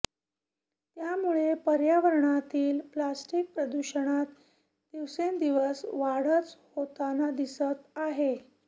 त्यामुळे पर्यावरणातील प्लास्टिक प्रदूषणात दिवसेंदिवस वाढच होताना दिसत आहे